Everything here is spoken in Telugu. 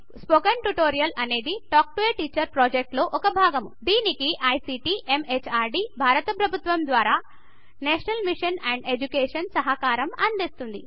స్పోకెన్ ట్యుటోరియల్ అనేది టాక్ టు ఏ టీచర్ అనే ప్రాజెక్ట్ లో ఒక భాగము దీనికి ఐసీటీ ఎంహార్డీ భారత ప్రభుత్వము ద్వారా నేషనల్ మిషన్ అండ్ ఎడ్యుకేషన్ సహకారం అందిస్తోంది